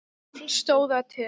Stóð það til?